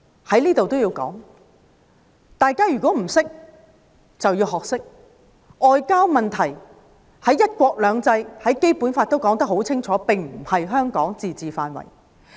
在此我也要說，大家如果不懂，便要學懂：外交問題在"一國兩制"和《基本法》下顯然不屬於香港的自治範圍。